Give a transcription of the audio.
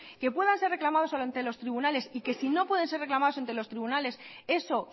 que puedan ser reclamados ante los tribunales y que si no pueden ser reclamados ante los tribunales eso